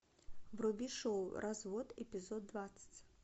вруби шоу развод эпизод двадцать